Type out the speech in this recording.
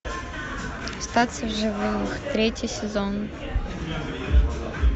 остаться в живых третий сезон